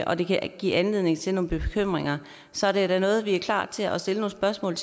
og at det kan give anledning til nogle bekymringer så er det da noget vi er klar til at stille nogle spørgsmål